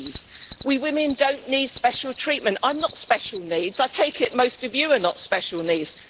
Please, we women do not need special treatment. I am not special needs, I take it most of you are not special needs.